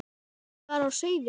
var á seyði.